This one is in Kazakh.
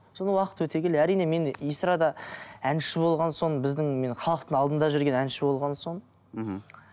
содан уақыт өте келе әрине мен эстрада әнші болған соң біздің мен халықтың алдында жүрген әнші болған соң мхм